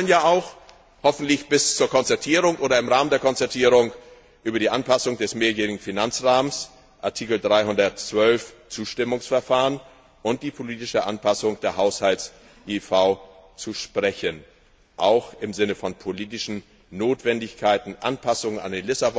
Denn wir sollen ja auch, hoffentlich bis zur Konzertierung oder im Rahmen der Konzertierung, über die Anpassung des mehrjährigen Finanzrahmens Artikel 312 Zustimmungsverfahren und die politische Anpassung der Haushalts IIV sprechen, auch im Sinne von politischen Notwendigkeiten, der Anpassung an den Vertrag